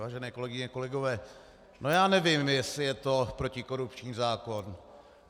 Vážené kolegyně, kolegové, no, já nevím, jestli je to protikorupční zákon.